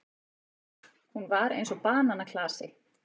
Hún var eins og bananaklasi.